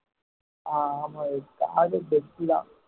ஹம் ஆமா விவேக் அது car best தான்